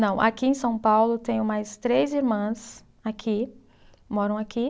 Não, aqui em São Paulo tenho mais três irmãs aqui, moram aqui.